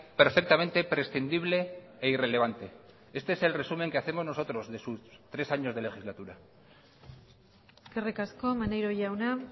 perfectamente prescindible e irrelevante este es el resumen que hacemos nosotros de sus tres años de legislatura eskerrik asko maneiro jauna